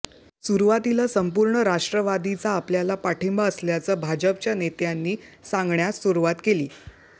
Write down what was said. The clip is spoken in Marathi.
सुरुवातीला संपूर्ण राष्ट्रवादीचा आपल्याला पाठिंबा असल्याचं भाजपच्या नेत्यांनी सांगण्यास सुरुवात केली